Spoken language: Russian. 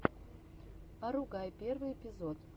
агугай первый эпизод